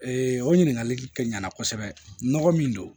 o ɲininkali kɛ ɲana kosɛbɛ nɔgɔ min don